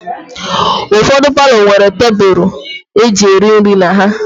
Ụfọdụ palọ nwere tebụlụ e ji eri nri na ha